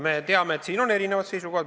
Me teame, et siin on erinevad seisukohad.